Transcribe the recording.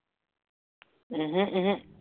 ওহো ওহো